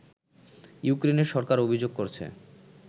ইউক্রেনের সরকার অভিযোগ করছে